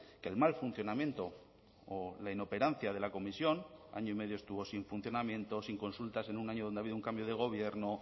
que el mal funcionamiento o la inoperancia de la comisión año y medio estuvo sin funcionamiento sin consultas en un año donde ha habido un cambio de gobierno